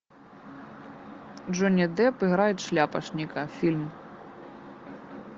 джонни депп играет шляпочника фильм